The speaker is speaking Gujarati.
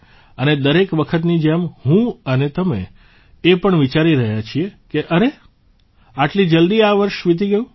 અને દરેક વખતની જેમ હું અને તમે એ પણ વિચારી રહ્યા છીએ કે અરે આટલી જલદી આ વર્ષ વિતી ગયું